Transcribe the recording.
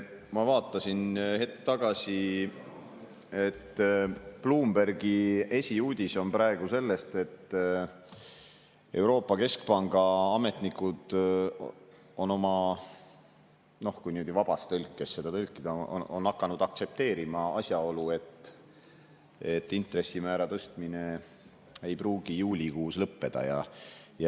Ma vaatasin hetk tagasi, et Bloombergi esiuudis on praegu see, et Euroopa Keskpanga ametnikud on – kui niimoodi vabas tõlkes tõlkida – hakanud aktsepteerima asjaolu, et intressimäära tõstmine ei pruugi juulikuus lõppeda.